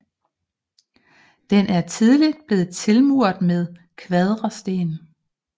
Den er tidligt blevet tilmuret med kvadersten